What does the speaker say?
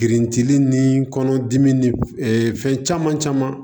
Girintili ni kɔnɔdimi ni fɛn caman caman